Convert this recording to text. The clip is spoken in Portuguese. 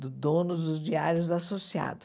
Do dono dos diários associados.